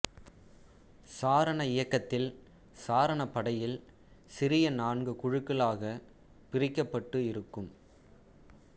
சாரண இயக்கத்தில் சாரணப்படையில் சிறிய நான்கு குழுக்களாக பிரிக்கப்பட்டு இருக்கும்